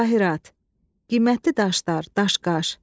Cavahirat, qiymətli daşlar, daşqaş.